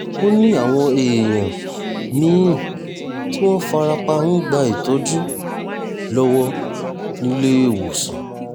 ó ní àwọn èèyàn mí-ín tí wọ́n fara pa ń gba ìtọ́jú lọ́wọ́ níléèwọ̀sàn